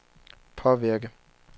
påvirke